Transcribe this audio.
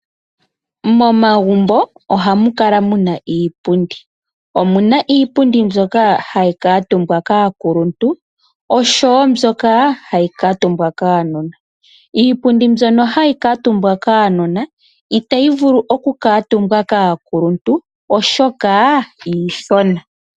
Momagumbo ohamu kala muna iipundi, omuna iipundi mbyoka hayi kamutumbwa kaakuluntu naambyoka hayi kamutumbwa kaanona. Iipundi mbyono hayi kamutumbwa kaanona itayi vulu oku kamutumbwa kaakuluntu oshoka iithona.